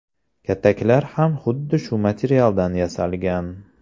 Kataklar ham xuddi shu materialdan yasalgan.